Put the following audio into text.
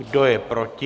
Kdo je proti?